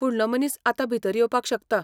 फुडलो मनीस आतां भितर येवपाक शकता!